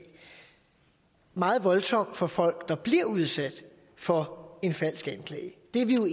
meget voldsomt for folk der bliver udsat for en falsk anklage det er vi